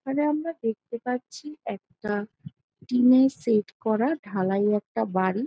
এখানে আমরা দেখতে পাচ্ছি একটা টিনের সেট করা ঢালাই একটা বাড়ি--